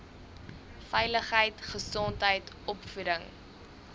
veiligheid gesondheid opvoeding